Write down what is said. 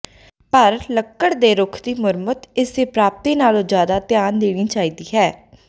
ਪਰ ਲੱਕੜ ਦੇ ਰੁੱਖ ਦੀ ਮੁਰੰਮਤ ਇਸ ਦੀ ਪ੍ਰਾਪਤੀ ਨਾਲੋਂ ਜ਼ਿਆਦਾ ਧਿਆਨ ਦੇਣੀ ਚਾਹੀਦੀ ਹੈ